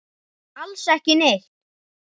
Alls ekki neitt.